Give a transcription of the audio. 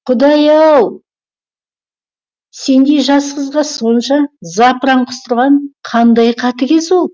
құдай ау сендей жас қызға сонша запыран құстырған қандай қатыгез ол